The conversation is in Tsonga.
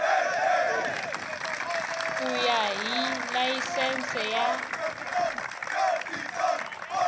ku ya hi layisense ya